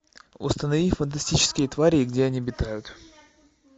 установи фантастические твари и где они обитают